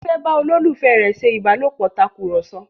Titi fè bá ololufẹ rẹ ṣe ìbálòpọ̀ Tàkùrọ̀sọ